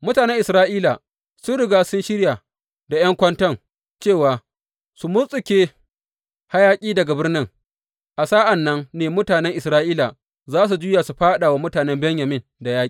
Mutanen Isra’ila sun riga sun shirya da ’yan kwanton cewa su murtuke hayaƙi daga birnin, a sa’an nan ne mutanen Isra’ila za su juya su fāɗa wa mutane Benyamin da yaƙi.